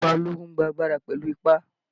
Ìjọba ológun n gba agbára pẹ̀lú ipá